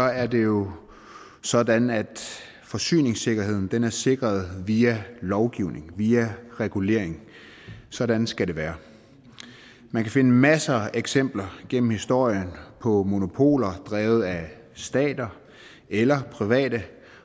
er det jo sådan at forsyningssikkerheden er sikret via lovgivning via regulering sådan skal det være man kan finde masser af eksempler gennem historien på monopoler drevet af stater eller private